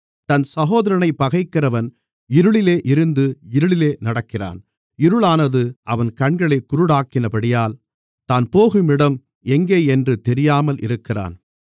தன் சகோதரனைப் பகைக்கிறவன் இருளிலே இருந்து இருளிலே நடக்கிறான் இருளானது அவன் கண்களைக் குருடாக்கினபடியால் தான் போகும் இடம் எங்கேயென்று தெரியாமல் இருக்கிறான்